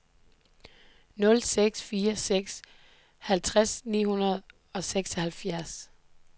nul seks fire seks halvtreds ni hundrede og seksoghalvfjerds